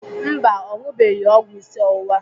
Mba, ọ ṅụbeghị ọgwụ isi ọwụwa.